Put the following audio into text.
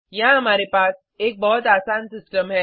यहाँ हमारे पास एक बहुत आसान सिस्टम है